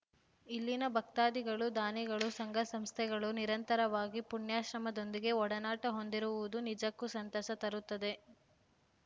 ಇಲ್ಲಿನ ಭಕ್ತಾದಿಗಳು ದಾನಿಗಳು ಸಂಘಸಂಸ್ಥೆಗಳು ನಿರಂತರವಾಗಿ ಪುಣ್ಯಾಶ್ರಮದೊಂದಿಗೆ ಒಡನಾಟ ಹೊಂದಿರುವುದು ನಿಜಕ್ಕೂ ಸಂತಸ ತರುತ್ತದೆ